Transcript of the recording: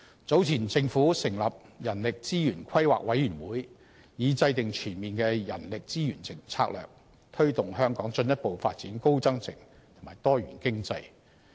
早前政府成立人力資源規劃委員會，以制訂全面的人力資源策略，推動香港進一步發展高增值及多元經濟。